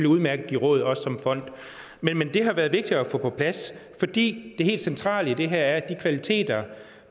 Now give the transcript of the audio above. udmærket give råd også som fond men det har været vigtigt at få på plads fordi det helt centrale i det her er at de kvaliteter